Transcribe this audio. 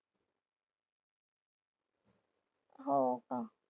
हो का?